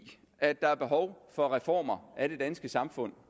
at der er behov for reformer af det danske samfund